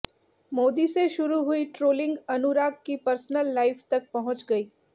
मोदी से शुरू हुई ट्रोलिंग अनुराग की पर्सनल लाइफ तक पहुंच गई